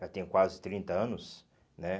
Já tem quase trinta anos, né?